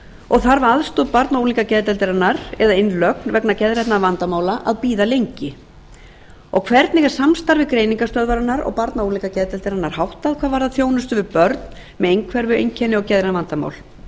og þarf aðstoð barna og unglingageðdeildarinnar eða innlögn vegna geðrænna vandamála að bíða lengi þriðja hvernig er samstarfi greiningarstöðvarinnar og barna og unglingageðdeildarinnar háttað hvað varðar þjónustu við börn með einhverfueinkenni og geðræn vandamál